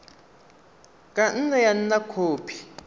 ka nne ya nna khopi